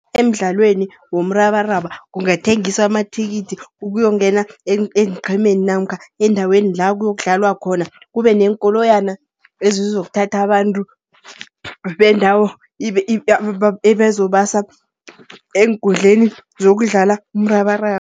Emidlalweni womrabaraba kungathengiswa amathikithi, ukuyongena eenqhemeni namkha eendaweni la kuyokudlalwa khona. Kube neenkoloyana ezizokuthatha abantu, bendawo ebezobasa eenkundleni zokudlala umrabaraba.